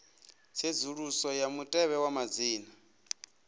tsedzuluso ya mutevhe wa madzina